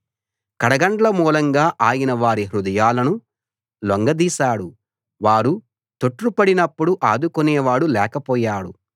కడగండ్ల మూలంగా ఆయన వారి హృదయాలను లొంగదీశాడు వారు తొట్రుపడినప్పుడు ఆదుకునేవాడు లేకపోయాడు